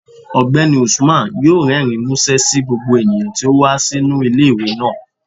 Ọgbẹni Usman yọọ rẹrín musẹ sí gbogbo eníyan tí o wa sinu ile-iwe naa.